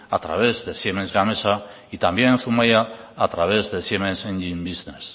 a través de siemens gamesa y también en zumaia a través de siemens engine business